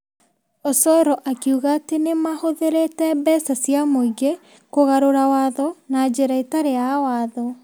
Osoro akiuga atĩ nĩ mahũthĩrĩte mbeca cia mũingĩ kũgarũra watho na njĩra ĩtarĩ ya watho.